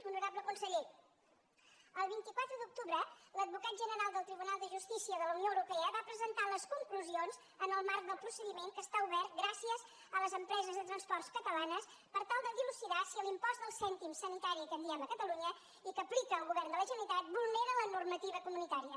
honorable conseller el vint quatre d’octubre l’advocat general del tribunal de justícia de la unió europea va presentar les conclusions en el marc del procediment que està obert gràcies a les empreses de transport catalanes per tal de dilucidar si l’impost del cèntim sanitari que en diem a catalunya i que aplica el govern de la generalitat vulnera la normativa comunitària